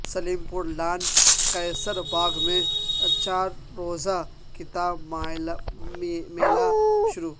سلیم پور لان قیصرباغ میں چارروزہ کتاب میلہ شروع